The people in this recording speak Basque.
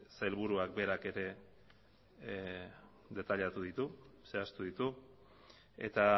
sailburuak berak ere detailatu ditu zehaztu ditu eta